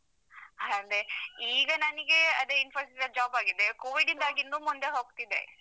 ಅದೇ ಈಗ ನನಿಗೆ ಅದೇ Infosys ಅಲ್ಲಿ job ಆಗಿದೆ. covid ಯಿಂದಾಗಿ ಇನ್ನು ಮುಂದೆ ಹೋಗ್ತಿದೆ.